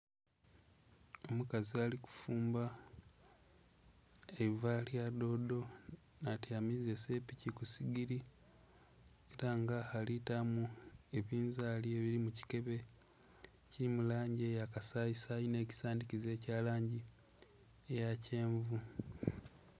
Omukazi ali kufumba eiva lyadodo n'atyamiza esepiki kusigiri era nga alitamu ebinzali ebiri mukikebe ekiri mulangi eya kasayi sayi n'ekisandhikiza ekyalangi eyakyenvu.